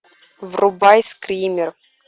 врубай скример